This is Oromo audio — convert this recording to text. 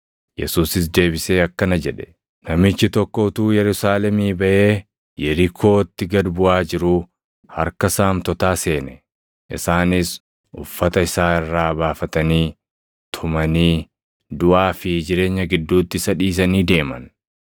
Yesuusis deebisee akkana jedhe; “Namichi tokko utuu Yerusaalemii baʼee Yerikootti gad buʼaa jiruu harka saamtotaa seene. Isaanis uffata isaa irraa baafatanii, tumanii, duʼaa fi jireenya gidduutti isa dhiisanii deeman.